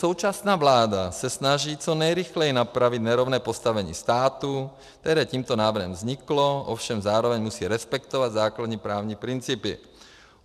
Současná vláda se snaží co nejrychleji napravit nerovné postavení státu, které tímto návrhem vzniklo, ovšem zároveň musí respektovat základní právní principy.